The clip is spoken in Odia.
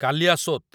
କାଲିୟାସୋତ୍